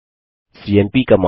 CMP command